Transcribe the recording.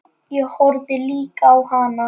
Ég horfði líka á hana.